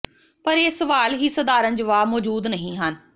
ਪਰ ਇਹ ਸਵਾਲ ਹੀ ਸਧਾਰਨ ਜਵਾਬ ਮੌਜੂਦ ਨਹੀ ਹਨ